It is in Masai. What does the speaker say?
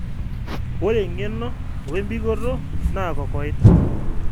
ore engeno o embikoto na kokoida